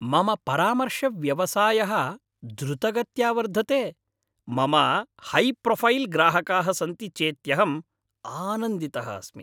मम परामर्शव्यवसायः द्रुतगत्या वर्धते, मम हैप्रोफ़ैल् ग्राहकाः सन्ति चेत्यहम् आनन्दितः अस्मि।